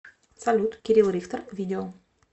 салют кирилл рихтер видео